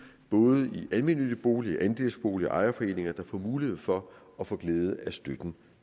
både i almennyttige boliger i andelsboliger og i ejerforeninger der får mulighed for at få glæde af støtten